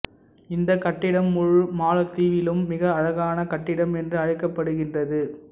இந்த கட்டிடம் முழு மாலத்தீவிலும் மிக அழகான கட்டிடம் என்று அழைக்கப்படுகிறது